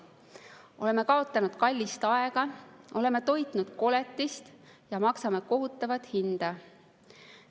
Oleme kaotanud kallist aega, oleme toitnud koletist ja maksame kohutavat hinda.